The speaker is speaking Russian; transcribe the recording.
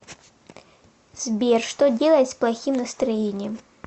сбер что делать с плохим настроением